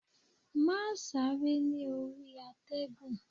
Máà sáré ní orí àtẹ̀gùn!